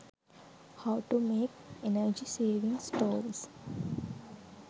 how to make energy saving stoves